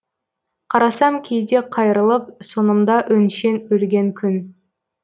қарасам кейде қайырылып сонымда өншен өлген күн